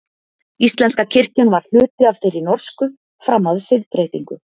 íslenska kirkjan var hluti af þeirri norsku fram að siðbreytingu